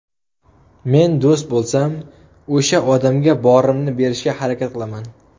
Men do‘st bo‘lsam, o‘sha odamga borimni berishga harakat qilaman.